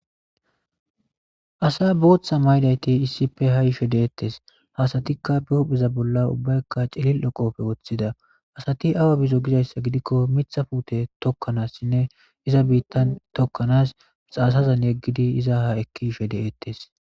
Asa bootha mayidayti issippe haa yishe de'etees; ha asatikka be hupheza bolla ubbaykka cilil'o qoobe woththida; asati awa bizo gizayssa gidikko miththa puute tokanasinne iza biitan tokkanas xaasazan yegidi iza ha ekki yishe de'etees.